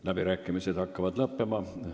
Läbirääkimised hakkavad lõppema.